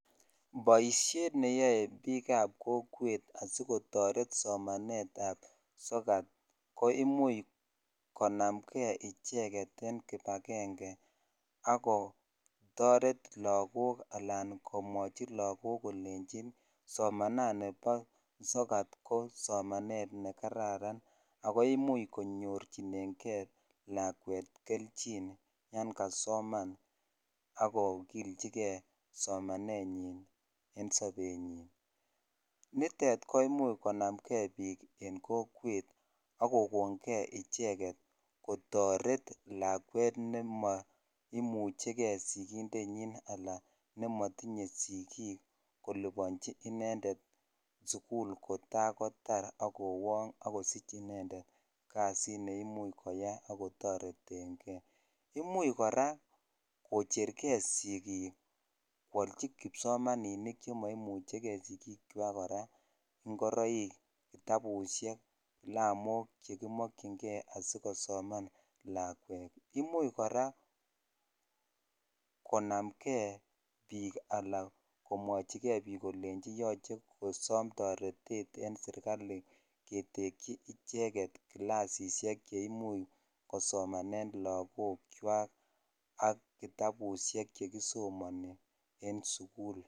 Poishet ne yae piik ap kokwet asi kotaret somanet ap sokat, ko imuch konamgei icheget eng' kipagenge ako taret lagook anan komwachi lagook kolenchi somanani po sokat ko somanet ne kararan ako imuch konyorchingei lakwet kelchin yan kasoman ako kilchigei somanetnyi en sapenyi. Nitet komuch konam gei piik eng' kokweet ako kon gei icheget kotaret lakwet ne ma imuchi gei sikindenyi ala ne matinye sikiik kolipanchi inendet sukul kota kotar ak kowang' akosich inedet kasit nemuchi koyai ako tareten gei. Imuchi kora kocheregei sikiik koalchi kipsomaninik che maimuchi sikiikwak kora ngoroik, kitabusiek, kalamok che makchingei asikosoman lakwet. Imuchi kora konam gei piik ala kolwanchigei piik kole yache kosam taretet eng' serikapit ketekchi icheget klasishek che imuchi kosomane lagookchwak ak kitabusiek che kisomani en sukul